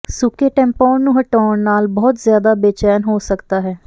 ਸੁੱਕੇ ਟੈਂਪੋਨ ਨੂੰ ਹਟਾਉਣ ਨਾਲ ਬਹੁਤ ਜ਼ਿਆਦਾ ਬੇਚੈਨ ਹੋ ਸਕਦਾ ਹੈ